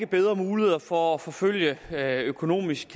bedre muligheder for at forfølge økonomisk